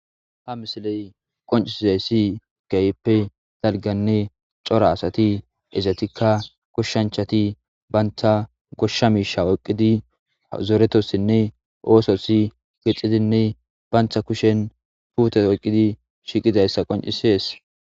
Ha misiley qoncisessi gayppe dalganne cora asati ezatikka goshshanchati banta goshsha miisha woqqidi zoretossinne oososi gixxidinne bayntha kushen puute oqqidi shiiqidayssa qoncisees